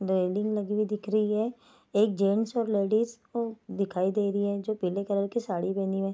welding लगी हुई दिख रही है एक जेंट्स और लेडीज को दिखाई दे रही है जो पीले कलर की साड़ी पहनी हुए --